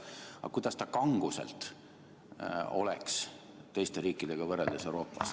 Aga kuidas ta kanguselt oleks teiste Euroopa riikidega võrreldes?